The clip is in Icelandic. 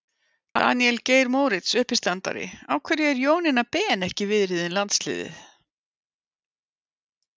Daníel Geir Moritz, uppistandari: Af hverju er Jónína Ben ekki viðriðin landsliðið?